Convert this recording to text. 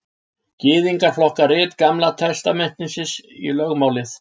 gyðingar flokka rit gamla testamentisins í lögmálið